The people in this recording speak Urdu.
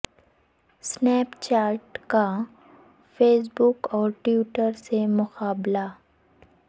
سنیپ چیٹ کا فیس بک اور ٹوئٹر سے مقابلہ